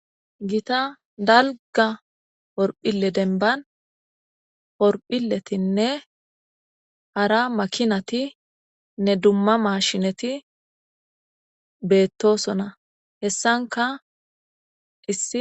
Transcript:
gita dalga horphile denban horphiletinne hara makinatinne dumma maashineti beettosona hessanka hisi